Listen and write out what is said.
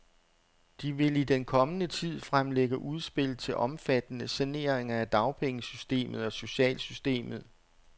De vil i den kommende tid fremlægge udspil til omfattende saneringer af dagpengesystemet og socialsystemet.